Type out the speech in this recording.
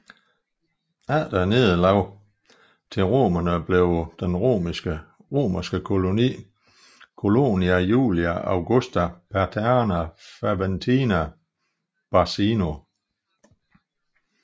Efter nederlaget til romerne blev den romerske koloni Colonia Julia Augusta Paterna Faventina Barcino